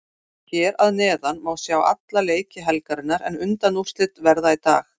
Hér að neðan má sjá alla leiki helgarinnar en undanúrslitin verða í dag.